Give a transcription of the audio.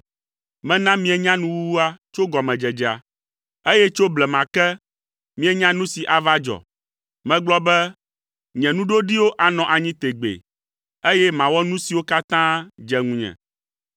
Mena mienya nuwuwua tso gɔmedzedzea, eye tso blema ke, mienya nu si ava dzɔ. Megblɔ be, ‘Nye nuɖoɖiwo anɔ anyi tegbee, eye mawɔ nu siwo katã dze ŋunye,’